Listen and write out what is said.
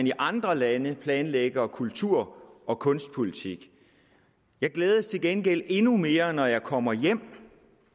i andre lande planlægger kultur og kunstpolitik jeg glædes til gengæld endnu mere når jeg kommer hjem